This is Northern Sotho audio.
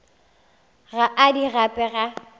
ga a di gape ka